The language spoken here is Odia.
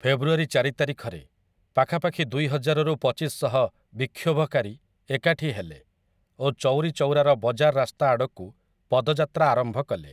ଫେବୃଆରୀ ଚାରି ତାରିଖରେ, ପାଖାପାଖି ଦୁଇହଜାରରୁ ପଚିଶଶହ ବିକ୍ଷୋଭକାରୀ ଏକାଠି ହେଲେ ଓ ଚୌରି ଚୌରାର ବଜାର ରାସ୍ତା ଆଡ଼କୁ ପଦଯାତ୍ରା ଆରମ୍ଭ କଲେ ।